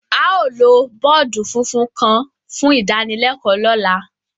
Ao lo bọọdu funfun kan fun idanilẹkọ lọla.